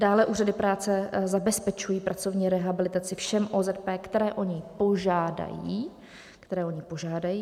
Dále úřady práce zabezpečují pracovní rehabilitaci všem OZP, které o ni požádají, které o ni požádají!